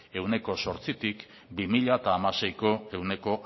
ehuneko zortzitik bi mila hamaseiko ehuneko